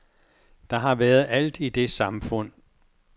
Der har været alt i det samfund.